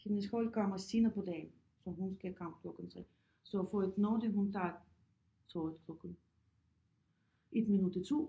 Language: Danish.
Hendes hold kommer senere på dagen så hun skal komme klokken 3 så for at nå det hun tager toget klokken 1 minut i 2